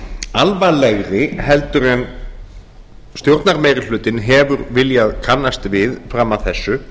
alvarlegri en stjórnarmeirihlutinn hefur viljað kannast við fram að þessu